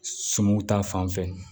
Sumanw ta fan fɛ